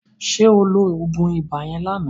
Ṣé o lo oògùn ibà yẹn lánàá?